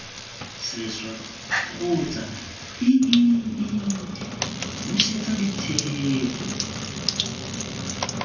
sešwa kgotsa iii busetsa ditheetso